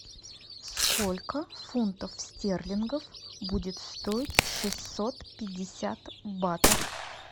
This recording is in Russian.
сколько фунтов стерлингов будет стоить шестьсот пятьдесят батов